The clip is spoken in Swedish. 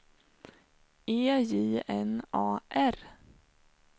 E J N A R